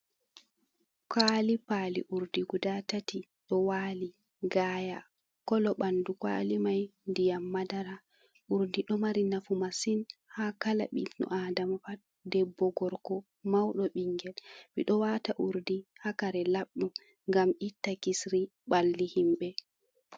Kwali pali urdi guda tati ɗo wali gaaya, kolo bandu kwali mai ndiyam madara, urdi ɗo mari nafu masin ha kala ɓi ɗo adama pat debbo, gorko, mauɗo ɓingel ɓedo wata urdi ha kare labɗo gam itta kisri ɓalli himɓe.